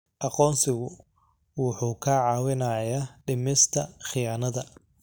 Aqoonsigu wuxuu kaa caawinayaa dhimista khiyaanada.